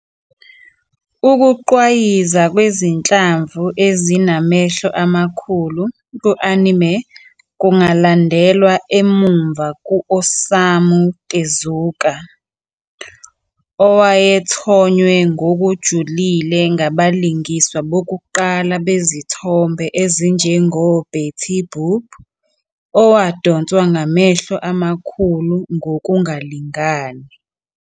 Ukugqwayiza kwezinhlamvu ezinamehlo amakhulu ku-anime kungalandelwa emuva ku-Osamu Tezuka, owayethonywe ngokujulile ngabalingiswa bakuqala bezithombe ezinjengoBetty Boop, owadonswa ngamehlo amakhulu ngokungalingani.